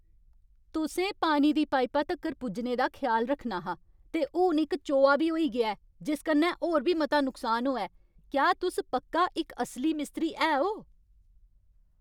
तुसें पानी दी पाइपा तक्कर पुज्जने दा ख्याल रक्खना हा, ते हून इक चोआऽ बी होई गेआ ऐ जिस कन्नै होर बी मता नुकसान होआ ऐ! क्या तुस पक्का इक असली मिस्त्री है ओ?